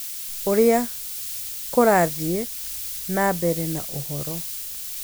ũrĩa kũrathiĩ na mbere na ũhoro